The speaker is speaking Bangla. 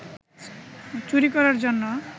চুরি করার জন্য